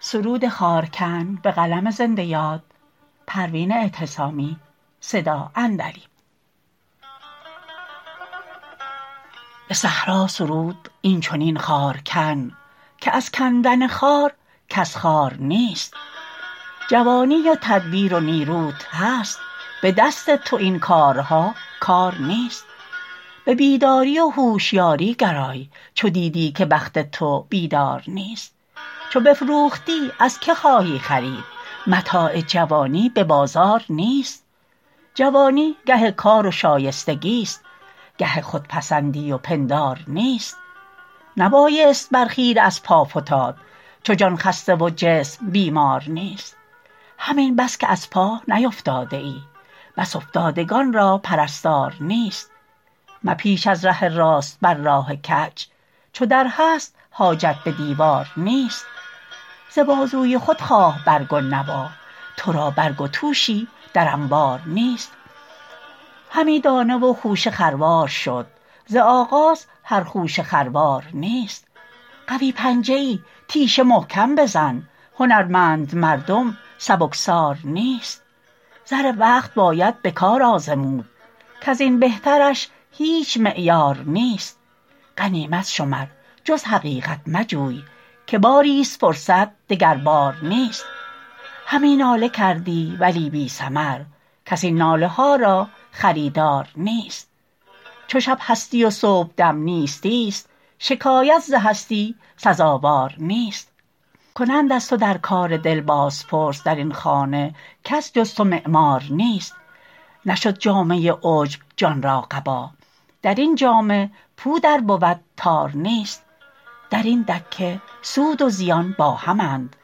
به صحرا سرود اینچنین خارکن که از کندن خار کس خوار نیست جوانی و تدبیر و نیروت هست به دست تو این کارها کار نیست به بیداری و هوشیاری گرای چو دیدی که بخت تو بیدار نیست چو بفروختی از که خواهی خرید متاع جوانی به بازار نیست جوانی گه کار و شایستگی است گه خودپسندی و پندار نیست نبایست بر خیره از پا فتاد چو جان خسته و جسم بیمار نیست همین بس که از پا نیفتاده ای بس افتادگان را پرستار نیست مپیچ از ره راست بر راه کج چو در هست حاجت به دیوار نیست ز بازوی خود خواه برگ و نوا تو را برگ و توشی در انبار نیست همی دانه و خوشه خروار شد ز آغاز هر خوشه خروار نیست قوی پنجه ای تیشه محکم بزن هنرمند مردم سبکسار نیست زر وقت باید به کار آزمود کزین بهترش هیچ معیار نیست غنیمت شمر جز حقیقت مجوی که باری است فرصت دگر بار نیست همی ناله کردی ولی بی ثمر کس این ناله ها را خریدار نیست چو شب هستی و صبحدم نیستی است شکایت ز هستی سزاوار نیست کنند از تو در کار دل باز پرس درین خانه کس جز تو معمار نیست نشد جامه عجب جان را قبا درین جامه پود ار بود تار نیست درین دکه سود و زیان با همند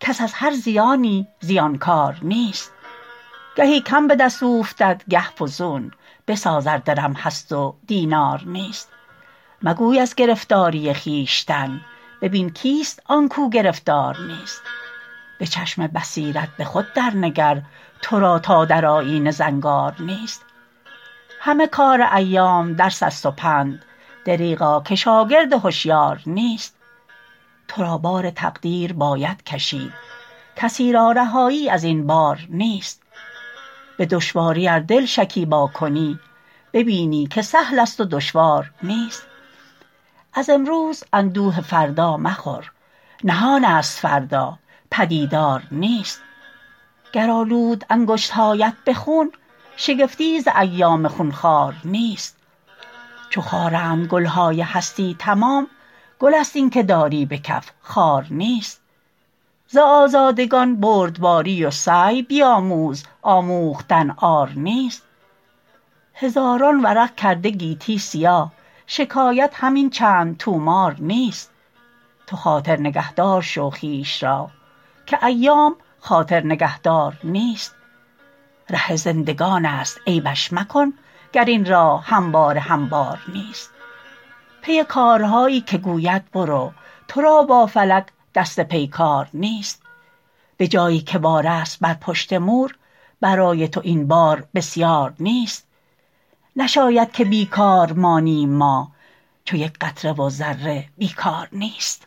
کس از هر زیانی زیانکار نیست گهی کم بدست اوفتد گه فزون بساز ار درم هست و دینار نیست مگوی از گرفتاری خویشتن ببین کیست آنکو گرفتار نیست بچشم بصیرت بخود در نگر ترا تا در آیینه زنگار نیست همه کار ایام درس است و پند دریغا که شاگرد هشیار نیست ترا بار تقدیر باید کشید کسی را رهایی از این بار نیست بدشواری ار دل شکیبا کنی ببینی که سهل است و دشوار نیست از امروز اندوه فردا مخور نهان است فردا پدیدار نیست گر آلود انگشتهایت به خون شگفتی ز ایام خونخوار نیست چو خارند گلهای هستی تمام گل است اینکه داری بکف خار نیست ز آزادگان بردباری و سعی بیاموز آموختن عار نیست هزاران ورق کرده گیتی سیاه شکایت همین چند طومار نیست تو خاطر نگهدار شو خویش را که ایام خاطر نگهدار نیست ره زندگان است عیبش مکن گر این راه همواره هموار نیست پی کارهایی که گوید برو ترا با فلک دست پیکار نیست به جایی که بار است بر پشت مور برای تو این بار بسیار نیست نشاید که بیکار مانیم ما چو یک قطره و ذره بیکار نیست